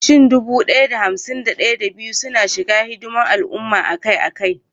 Shin dubu ɗaya da hamsin da ɗaya, da biyu suna shiga hidimar al'umma akai-akai?